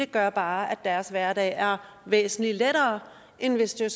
gør bare at deres hverdag er væsentlig lettere end hvis det